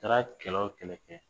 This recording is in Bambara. Taara kɛlɛ o kɛnɛ kɛ